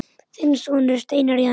Þinn sonur, Steinar Jens.